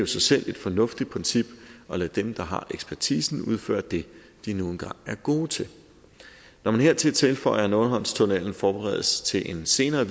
sig selv et fornuftigt princip at lade dem der har ekspertisen udføre det de nu engang er gode til når man hertil tilføjer at nordhavnstunnellen forberedes til en senere